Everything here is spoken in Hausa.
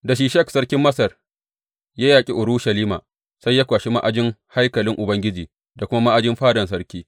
Da Shishak sarkin Masar ya yaƙi Urushalima, sai ya kwashi ma’ajin haikalin Ubangiji da kuma ma’ajin fadan sarki.